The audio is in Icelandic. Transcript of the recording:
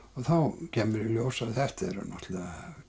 þá kemur í ljós að þetta er náttúrulega